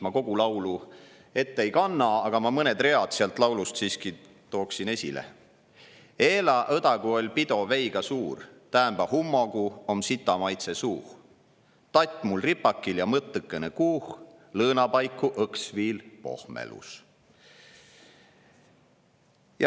Ma kogu laulu ette ei kanna, aga mõned read sellest laulust siiski tooksin esile: "Eela õdagu oll' pido veiga suur / Täämbä hummogu om sitamaitse suuh / Tatt mul ripakil ja mõttõkõnõ kuuh / lõõna paiku õks viil pohmelus.